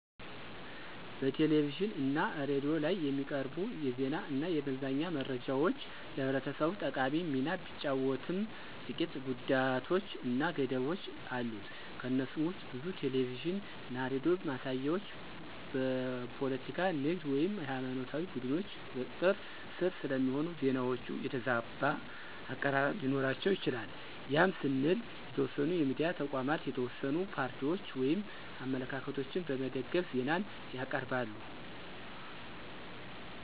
በቴሌቪዥን እና ሬዲዮ ላይ የሚቀርቡ የዜና እና የመዝናኛ መረጃዎች ለህብረተሰቡ ጠቃሚ ሚና ቢጫወትም ጥቂት ጉዳቶች እና ገደቦች አሉት። ከነሱም ውስጥ ብዙ ቴሌቪዥን እና ሬዲዮ ማሳያዎች በፖለቲካ፣ ንግድ ወይም ሃይማኖታዊ ቡድኖች ቁጥጥር ስር ስለሚሆኑ፣ ዜናዎቹ የተዛባ አቀራረብ ሊኖራቸው ይችላል ያም ስንል የተወሰኑ የሚዲያ ተቋማት የተወሰኑ ፓርቲዎችን ወይም አመለካከቶችን በመደገፍ ዜናን ያቅርባሉ።